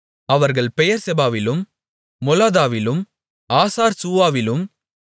அவர்கள் பெயெர்செபாவிலும் மொலாதாவிலும் ஆசார்சூவாவிலும்